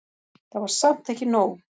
Það var samt ekki nóg.